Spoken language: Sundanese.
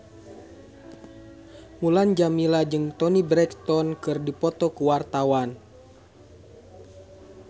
Mulan Jameela jeung Toni Brexton keur dipoto ku wartawan